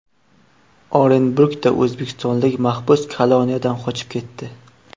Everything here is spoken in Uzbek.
Orenburgda o‘zbekistonlik mahbus koloniyadan qochib ketdi.